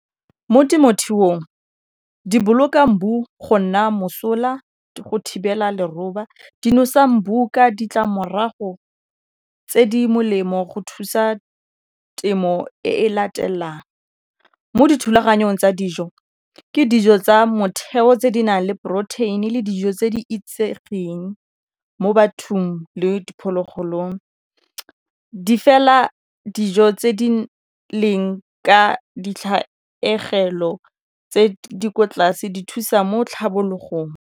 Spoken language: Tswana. Mo temothuong di boloka go nna mosola go thibela leroba di nosa ditlamorago tse di molemo go thusa temo e e latelang, mo dithulaganyong tsa dijo ke dijo tsa motheo tse di nang le phorotheine le dijo tse di itsegeng mo bathong le diphologolong di fela dijo tse di leng ka ditlhaegelo tse di kwa tlase di thusa mo tlhabologong.